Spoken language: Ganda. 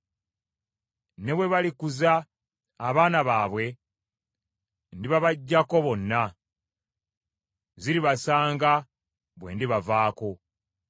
Ne bwe balikuza abaana baabwe, ndibabaggyako bonna. Ziribasanga bwe ndibavaako.